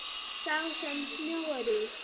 Sá sem snjóar í.